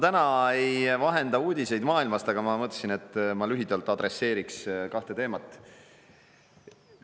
Täna ma ei vahenda uudiseid maailmast, aga ma mõtlesin, et lühidalt adresseeriksin kahte teemat.